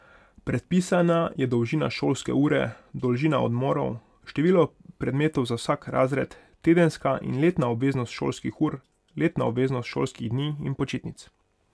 Predpisana je dolžina šolske ure, dolžina odmorov, število predmetov za vsak razred, tedenska in letna obveznost šolskih ur, letna obveznost šolskih dni in počitnic.